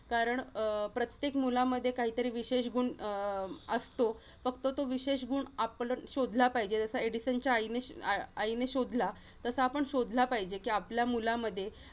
कारण अं प्रत्येक मुलामध्ये काहीतरी विशेष गुण अं असतो. फक्त तो विशेष गुण आपण शोधला पाहिजे, जसा एडिसनच्या आई~ आईने शोधला, तसा आपण शोधला पाहिजे कि आपल्या मुलामध्ये